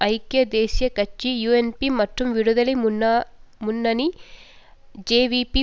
ஐக்கிய தேசிய கட்சி யூஎன்பி மக்கள் விடுதலை முன்னணி ஜேவிபி